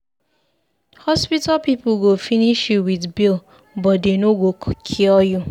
Hospital people go finish you with bill but dey no go cure you.